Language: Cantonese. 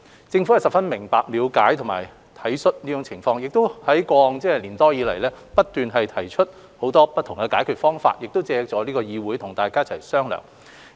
政府十分明白、了解和體恤這種情況，亦在過往1年多以來不斷提出很多不同的解決方法，並借助這個議會與大家一同商量。